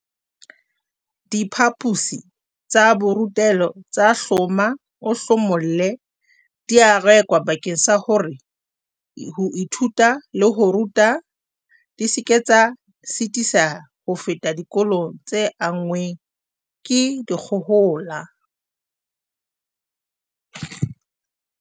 Diphaposi tsa borutelo tsa hloma-o-hlomolle di a rekwa bakeng sa hore ho ithuta le ho ruta di seke tsa sitiseha ho feta dikolong tse anngweng ke dikgohola.